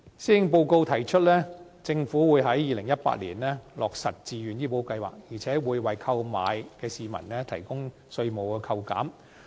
施政報告提出，政府計劃在2018年落實自願醫保計劃，而且會為購買的市民，提供稅務扣減。